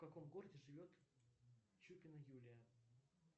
в каком городе живет чупина юлия